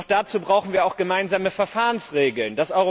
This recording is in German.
Doch dazu brauchen wir auch gemeinsame Verfahrensregeln.